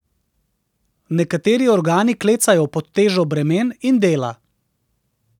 Nekateri organi klecajo pod težo bremen in dela.